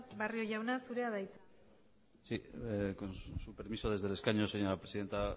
barrio jauna zurea da hitza sí con su permiso desde el escaño señora presidenta